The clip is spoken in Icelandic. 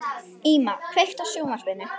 Íma, kveiktu á sjónvarpinu.